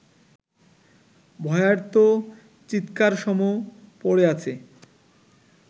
ভয়ার্ত চিৎকারসম প’ড়ে আছে